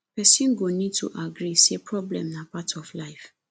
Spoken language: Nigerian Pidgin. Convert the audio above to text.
person go need to agree say problem na part of life